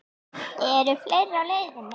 Eru fleiri á leiðinni?